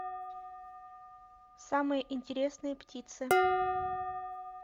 самые интересные птицы